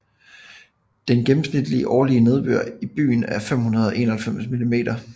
Den gennemsnitlige årlige nedbør i byen er 591 mm